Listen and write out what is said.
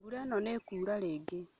Mbura ĩno nĩ ĩkuura rĩngĩ